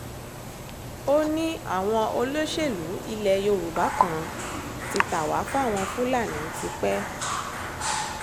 ó ní àwọn olóṣèlú ilẹ̀ yorùbá kan ti ta wá fáwọn fúlàní tipẹ́